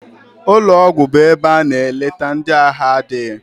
Ụlọgwụ bụ ebe a na-eleta ndị ahụ adịghị.